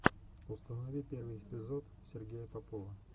установи первый эпизод сергея попова